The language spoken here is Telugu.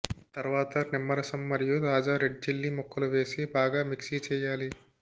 తర్వాతర్ నిమ్మరసం మరియు తాజా రెడ్ చిల్లి ముక్కలు వేసి బాగా మిక్స్ చేయాలి